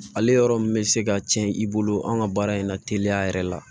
Ale yɔrɔ min bɛ se ka tiɲɛ i bolo an ka baara in na teliya yɛrɛ la